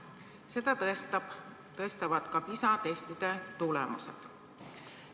Seda tõestavad ka PISA testide tulemused.